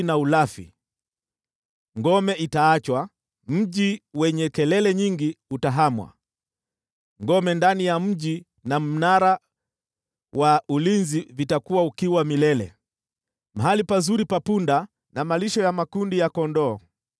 Ngome itaachwa, mji wenye kelele nyingi utahamwa, ngome ndani ya mji na mnara wa ulinzi vitakuwa ukiwa milele, mahali pazuri pa punda na malisho ya makundi ya kondoo,